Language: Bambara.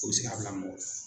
U bɛ se ka bila mɔgɔ la.